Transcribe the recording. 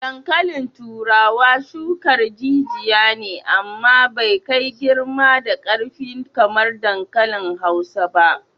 Dankalin turawa shukar jijiya ne amma bai kai girma da karfi kamar dankali Hausa ba.